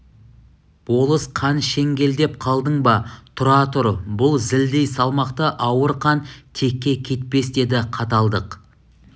болыс қан шеңгелдеп қалдың ба тұра тұр бұл зілдей салмақты ауыр қан текке кетпес деді қаталдық